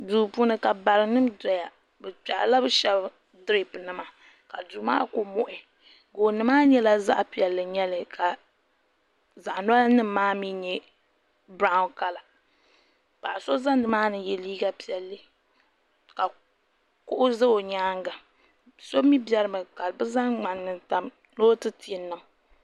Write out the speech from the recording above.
Duu puuni ka barinima doya bɛ kpehirila bɛ sheba diripi nima ka duu maa kuli muɣi gooni maa nyɛla zaɣa piɛlli n nyɛli ka zaɣa ŋmahi nima maa nyɛ biraw kala paɣa so ʒɛ nimaani ye liiga piɛlli ka kuɣu za o nyaanga so mee berimi ka zaŋ ŋmani n tam ni o ti ti n niŋ.